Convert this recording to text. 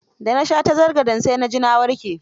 Da na sha tazargen sa na ji na warke.